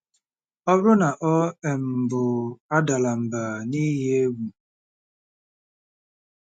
Ọ bụrụ na ọ um bụ, adala mbà n’ihi egwu.